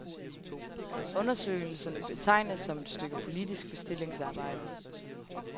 Undersøgelsen betegnes som et stykke politisk bestillingsarbejde.